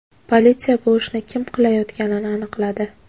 Politsiya bu ishni kim qilayotganini aniqladi.